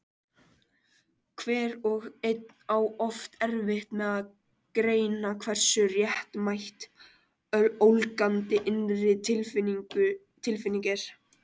Hver og einn á oft erfitt með að greina hversu réttmæt ólgandi innri tilfinning er.